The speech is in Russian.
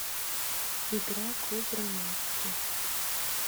игра клуб романтики